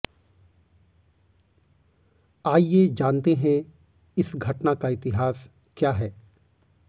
आइए जानते हैं इस घटना का इतिहास क्या है